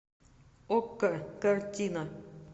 окко картина